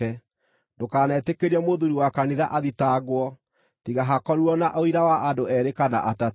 Ndũkanetĩkĩrie mũthuuri wa kanitha athitangwo, tiga hakorirwo na ũira wa andũ eerĩ kana atatũ.